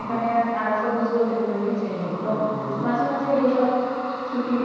এখানে আর সবয বলতে কোন মাঝে মাঝে এই সব